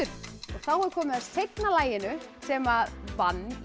þá er komið að seinna laginu sem vann í